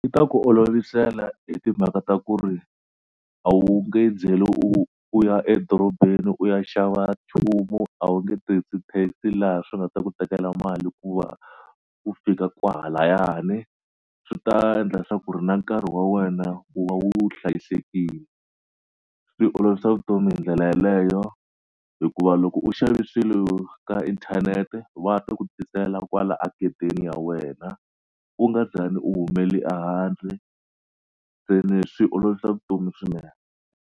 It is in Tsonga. Yi ta ku olovisela hi timhaka ta ku ri a wu nge byeli u u ya edorobeni u ya xava nchumu a wu nge tirhisi taxi laha swi nga ta ku tekela mali ku va u fika kwahalayani swi ta endla swa ku ri na nkarhi wa wena wu va wu hlayisekile swi olovisa vutomi hi ndlela yeleyo hikuva loko u xave swilo ka inthanete va ta ku tisela kwala a gedeni ya wena u nga zangi u humele a handle se ni swi olovisa vutomi swinene.